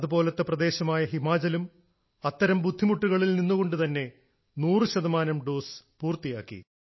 അതുപോലത്തെ പ്രദേശമായ ഹിമാചലും അത്തരം ബുദ്ധിമുട്ടുകളിൽ നിന്നുകൊണ്ട് തന്നെ 100 ശതമാനം ഡോസ് പൂർത്തിയാക്കി